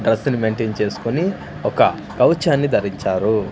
డ్రస్సును maintain చేసుకొని ఒక కవచాన్ని ధరించారు.